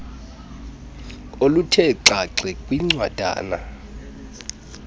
oluthe xaxe kwincwadana